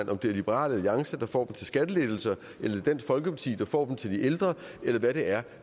om det er liberal alliance der får dem til skattelettelser eller dansk folkeparti der får dem til de ældre eller hvad det er